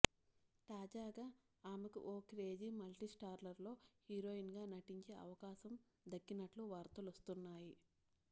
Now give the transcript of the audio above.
తాజాగా ఆమెకు ఓ క్రేజీ మల్టీస్టారర్లో హీరోయిన్గా నటించే అవకాశం దక్కినట్లు వార్తలొస్తున్నాయి